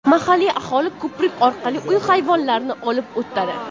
Mahalliy aholi ko‘prik orqali uy hayvonlarini olib o‘tadi.